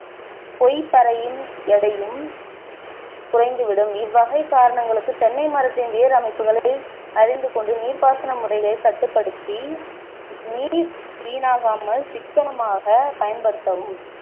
கொய்பரையின் எடையும் குறைந்து விடும் இவ்வகை காரணங்களுக்கு தென்னை மரத்தின் வேர் அமைப்புகளை அறிந்து கொண்டு நீர்ப்பாசன முறைகளைக கட்டுப்படுத்தி நீர் வீணாகாமல் சிக்கனமாக பயன்படுத்தவும்